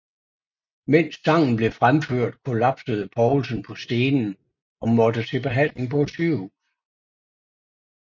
Mens sangen blev fremført kollapsede Poulsen på scenen og måtte til behandling på et sygehus